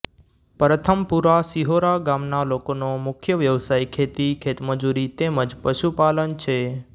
પરથમપુરા શિહોરા ગામના લોકોનો મુખ્ય વ્યવસાય ખેતી ખેતમજૂરી તેમ જ પશુપાલન છે